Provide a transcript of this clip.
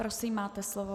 Prosím, máte slovo.